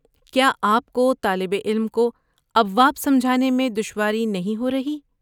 کیا آپ کو طالب علم کو ابواب سمجھانے میں دشواری نہیں ہو رہی؟